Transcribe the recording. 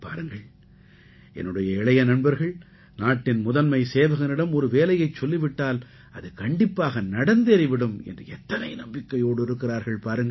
பாருங்கள் என்னுடைய இளைய நண்பர்கள் நாட்டின் முதன்மை சேவகனிடம் ஒரு வேலையைச் சொல்லி விட்டால் அது கண்டிப்பாக நடந்தேறி விடும் என்று எத்தனை நம்பிக்கையோடு இருக்கிறார்கள் பாருங்கள்